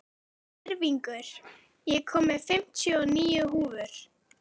Tyrfingur, ég kom með fimmtíu og níu húfur!